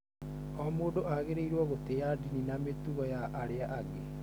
O mũndũ agĩrĩirũo gũtĩa ndini na mĩtugo ya arĩa angĩ.